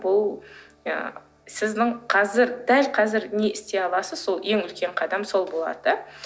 ол ы сіздің қазір дәл қазір не істей аласыз сол ең үлкен қадам сол болады да